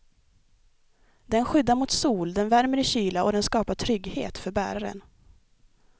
Den skyddar mot sol, den värmer i kyla och den skapar trygghet för bäraren.